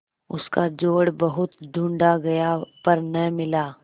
उसका जोड़ बहुत ढूँढ़ा गया पर न मिला